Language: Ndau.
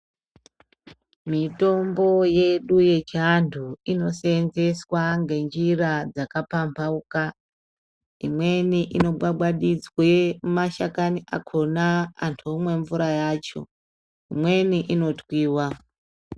Mitombo yedu yechianhu inoseenzeswa ngenjira dzakapambauka, imweni inogwagwadidzwa mashakani akona antu omwe mvura yacho, imweni inotwiwa.